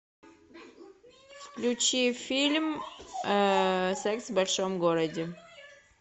включи фильм секс в большом городе